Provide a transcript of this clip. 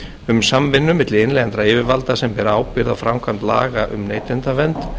um samvinnu milli innlendra yfirvalda sem bera ábyrgð á framkvæmd laga um neytendavernd